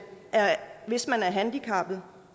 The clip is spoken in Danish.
hvis man er handicappet